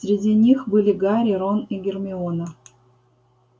среди них были гарри рон и гермиона